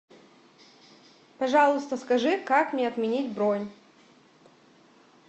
пожалуйста скажи как мне отменить бронь